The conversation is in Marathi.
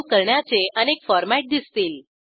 सावे करण्याचे अनेक फॉरमॅट दिसतील